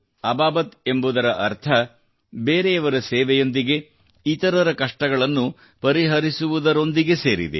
ಅಬಾಬತ್ ಎಂಬುದರ ಅರ್ಥ ಬೇರೆಯವರ ಸೇವೆಯೊಂದಿಗೆ ಇತರರ ಕಷ್ಟಗಳನ್ನು ಪರಿಹರಿಸುವುದರೊಂದಿಗೆ ಸೇರಿದೆ